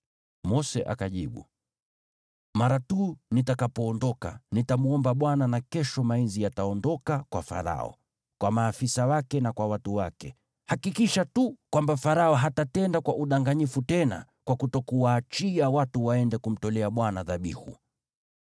Mose akajibu, “Mara tu nitakapoondoka, nitamwomba Bwana na kesho mainzi yataondoka kwa Farao, kwa maafisa wake na kwa watu wake. Hakikisha tu kwamba Farao hatatenda kwa udanganyifu tena kwa kutokuwaachia watu waende kumtolea Bwana dhabihu.”